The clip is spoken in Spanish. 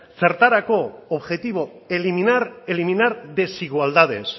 zertarako objetivo eliminar desigualdades